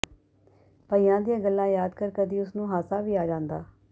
ਭਈਆਂ ਦੀਆਂ ਗੱਲਾਂ ਯਾਦ ਕਰ ਕਦੀ ਉਸ ਨੂੰ ਹਾਸਾ ਵੀ ਆ ਜਾਂਦਾ